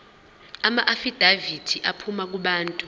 amaafidavithi aphuma kubantu